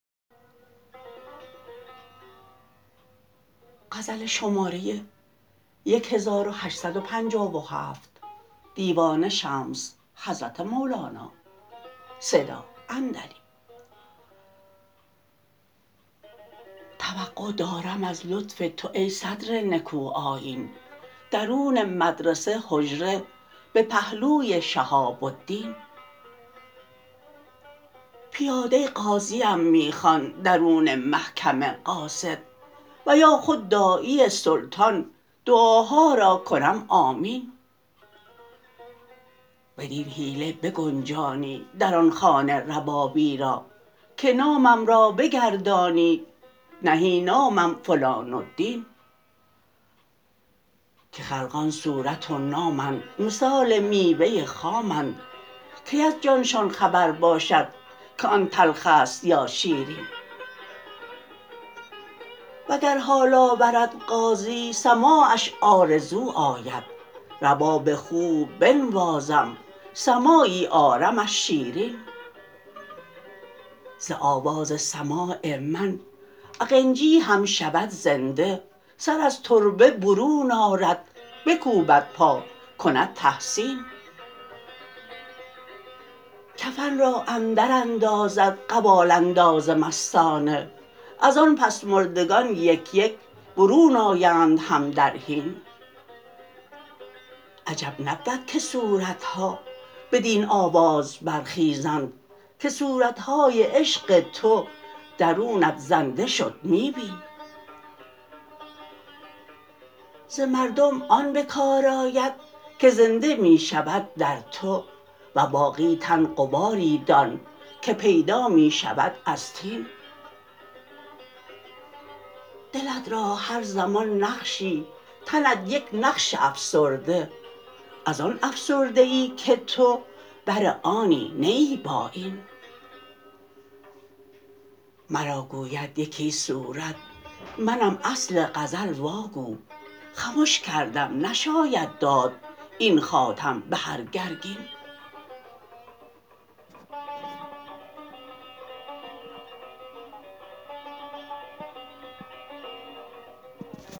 توقع دارم از لطف تو ای صدر نکوآیین درون مدرسه حجره به پهلوی شهاب الدین پیاده قاضیم می خوان درون محکمه قاصد و یا خود داعی سلطان دعاها را کنم آمین بدین حیله بگنجانی در آن خانه ربابی را که نامم را بگردانی نهی نامم فلان الدین که خلقان صورت و نامند مثال میوه خامند کی از جانشان خبر باشد که آن تلخ است یا شیرین وگر حال آورد قاضی سماعش آرزو آید رباب خوب بنوازم سماعی آرمش شیرین ز آواز سماع من اقنجی هم شود زنده سر از تربت برون آرد بکوبد پا کند تحسین کفن را اندراندازد قوال انداز مستانه از آن پس مردگان یک یک برون آیند هم در حین عجب نبود که صورت ها بدین آواز برخیزند که صورت های عشق تو درونت زنده شد می بین ز مردم آن به کار آید کی زنده می شود در تو و باقی تن غباری دان که پیدا می شود از طین دلت را هر زمان نقشی تنت یک نقش افسرده از آن افسرده ای که تو بر آنی نه ای با این مرا گوید یکی صورت منم اصل غزل واگو خمش کردم نشاید داد این خاتم به هر گرگین